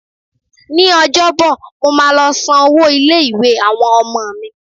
Ní Ọjọ́bọ̀, mo máa lọ san owó ilé-ìwé àwọn ọmọ mi.